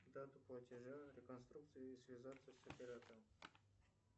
дату платежа реконструкцию и связаться с оператором